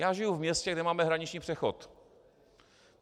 Já žiji v městě, kde máme hraniční přechod.